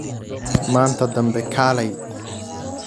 Maanta dambe kaalay